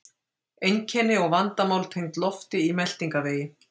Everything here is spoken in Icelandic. Einkenni og vandamál tengd lofti í meltingarvegi